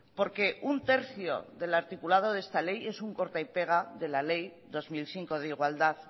porque un tercio del articulado de esta ley es un corta y pega de la ley dos mil cinco de igualdad